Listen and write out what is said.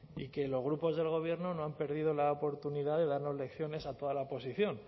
y que los grupos del gobierno no han perdido la oportunidad de darnos lecciones a toda la oposición